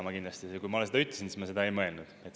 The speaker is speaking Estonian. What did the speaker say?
Ja kui ma seda ütlesin, siis ma seda ei mõelnud.